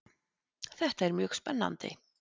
Þetta er mjög spennandi